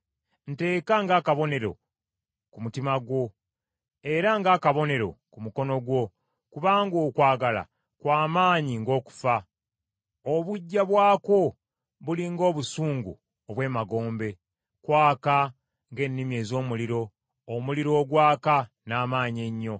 Nteeka ng’akabonero ku mutima gwo, era ng’akabonero ku mukono gwo, kubanga okwagala kwa maanyi ng’okufa, obuggya bwakwo buli ng’obusungu obw’emagombe. Kwaka ng’ennimi ez’omuliro, omuliro ogwaka n’amaanyi ennyo.